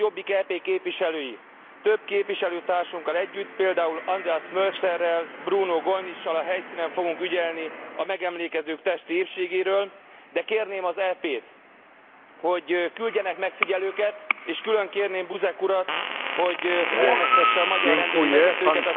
Mi, a Jobbik EP képviselői több képviselőtársunkkal együtt, például Andreas Mölzerrel, Bruno Gollnischsal a helyszínen fogunk ügyelni a megemlékezők testi épségére, de kérném az EP t, hogy küldjenek megfigyelőket és külön kérném Buzek Urat, hogy figyelmeztesse a magyar rendőri vezetőket